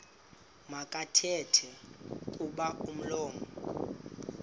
makathethe kuba umlomo